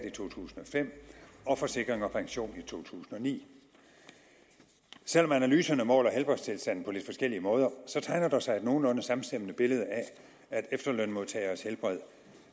i to tusind og fem og af forsikring pension i to tusind og ni selv om analyserne måler helbredstilstanden på lidt forskellige måder tegner der sig et nogenlunde samstemmende billede af at efterlønsmodtageres helbred